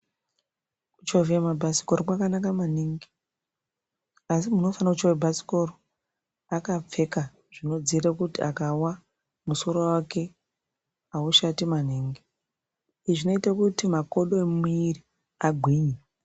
Kuchovhe mabhasikoro kwakanaka maningi asi muntu unofanire kuchovha bhasikoro akapfeka zvinodzivirira kuti akawa musoro wake aushati maningi. Izvi zvinoite kuti makodo emwiri agwinye.